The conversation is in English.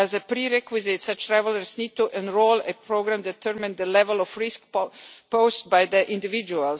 As a prerequisite, such travellers need to enrol and a programme determines the level of risk posed by the individual.